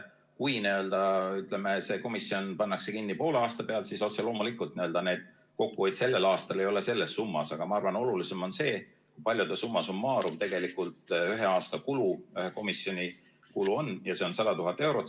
Kui see komisjon pannakse kinni poole aasta pealt, siis otse loomulikult ei ole see kokkuhoid sellel aastal selles summas, aga ma arvan, et olulisem on see, kui palju on summa summarum ühel aastal ühe komisjoni kulu, ja see on 100 000 eurot.